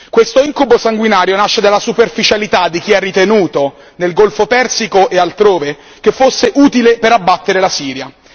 Questo incubo sanguinario nasce dalla superficialità di chi ha ritenuto nel Golfo Persico e altrove che fosse utile per abbattere la Siria.